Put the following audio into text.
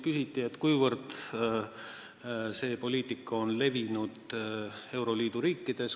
Küsiti, kuivõrd see poliitika on levinud euroliidu riikides.